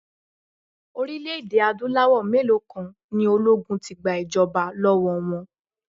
Orílẹ̀-èdè Adúláwọ̀ mélòó kan ni ológun ti gba ìjọba lọ́wọ́ wọn.